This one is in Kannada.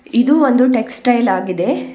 ಇದು ಒಂದು ಟೆಕ್ಸ್ಟ್ ಟೈಲ್ ಆಗಿದೆ.